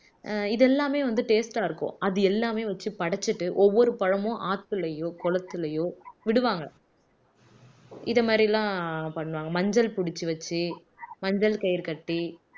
ஆஹ் இதெல்லாமே வந்து taste அ இருக்கும் அது எல்லாமே வச்சு படைச்சுட்டு ஒவ்வொரு பழமும் ஆத்துலயோ குளத்துலையோ விடுவாங்க இது மாதிரி எல்லாம் பண்ணுவாங்க மஞ்சள் புடிச்சு வச்சு மஞ்சள் கயிறு கட்டி